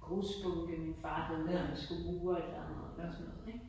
grusbunke havde lavet han skulle mure et eller andet ik